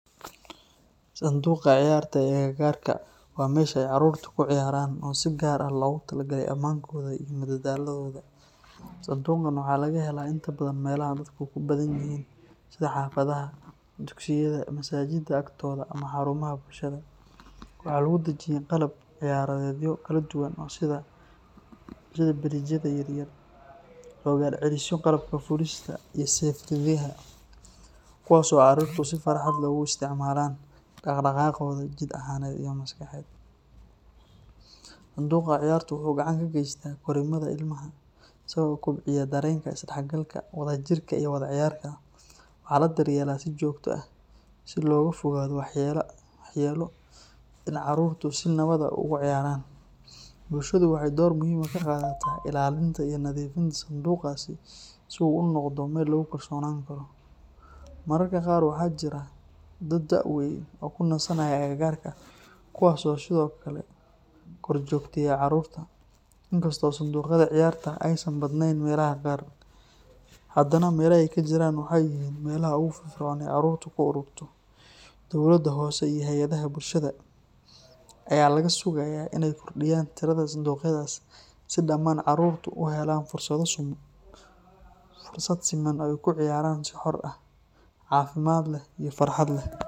Sanduuqa ciyaarta ee agagaarka waa meesha ay carruurtu ku ciyaaraan oo si gaar ah loogu talagalay ammaankooda iyo madadaaladooda. Sanduuqan waxa laga helaa inta badan meelaha dadku ku badan yihiin sida xaafadaha, dugsiyada, masaajidda agtooda, ama xarumaha bulshada. Waxaa lagu dhejiyay qalab ciyaareedyo kala duwan sida biriijyada yaryar, rogaalcelisyo, qalabka fuulista, iyo seerfiyadaha, kuwaas oo carruurtu si farxad leh ugu isticmaalaan dhaqdhaqaaqooda jidh ahaaneed iyo maskaxeed. Sanduuqa ciyaartu wuxuu gacan ka geystaa korriimada ilmaha isagoo kobciya dareenka isdhexgalka, wadajirka, iyo wada ciyaarka. Waxaa la daryeelaa si joogto ah si looga fogaado waxyeelo iyo in carruurtu si nabad ah ugu ciyaaraan. Bulshadu waxay door muhiim ah ka qaadataa ilaalinta iyo nadiifinta sanduuqaas si uu u noqdo meel lagu kalsoonaan karo. Mararka qaar waxaa jira dad da’ weyn oo ku nasanaya agagaarka, kuwaas oo sidoo kale korjoogteeya carruurta. Inkastoo sanduuqyada ciyaarta aysan badnayn meelaha qaar, haddana meelaha ay ka jiraan waxay yihiin meelaha ugu firfircoon ee carruurtu ku ururto. Dowladda hoose iyo hay’adaha bulshada ayaa laga sugayaa inay kordhiyaan tirada sanduuqyadaas si dhammaan carruurtu u helaan fursad siman oo ay ku ciyaaraan si xor ah, caafimaad leh, iyo farxad leh.